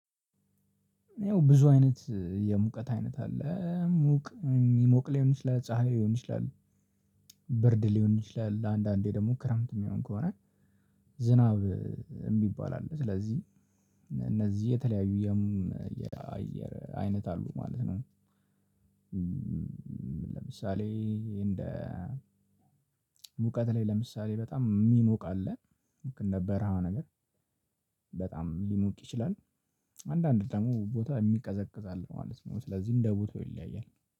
ይኸው ብዙ አይነት የሙቀት አይነት አለ ሙቅ የሚሞቅ ሊሆን ይችላል ፀሀይ ሊሆን ይችላል። ብርድ ሊሆን ይችላል ለአንዳንዴ ደግሞ ክረምት የሚሆን ከሆነ ዝናብ ይባላል። ስለዚህ እነዚህ የተለያዩ የአየር አይነት አሉ ማለት ነው። ለምሳሌ እንደ ሙቀት ላይ ለምሳሌ በጣም የሚሞቅ አለ ልክ እንደ በርሃነገ ር በጣም ሊሞቅ ይችላል። አንዳንድ ደግሞ ቦታ የሚቀዘቅዝ አለ ማለት ነው ስለዚህ እንደ ቦታው ይለያያል